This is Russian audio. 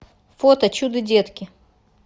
фото чудо детки